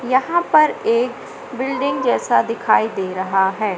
यहां पर एक बिल्डिंग जैसा दिखाई दे रहा हैं।